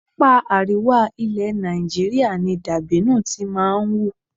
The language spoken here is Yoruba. Apá àríwá ilẹ̀ Nàìjíríà ni dàbínù ti máa ń hù.